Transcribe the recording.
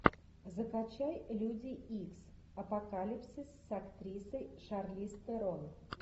закачай люди икс апокалипсис с актрисой шарлиз терон